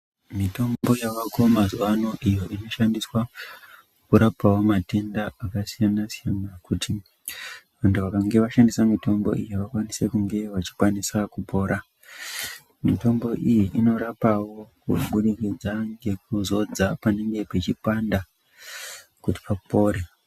Mitombo yavako mazuwa ano iyo inoshandiswa kurapawo matenda akasiyana siyana kuti vantu vakange vashandisa mitombo iyi vakwanise kunge vachikwanisa kupora. Mitombo iyi inorapawo kubudikidza ngekuzodza panenge peichipanda kuti papore.